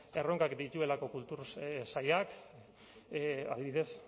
erronkak dituelako kultura sailak adibidez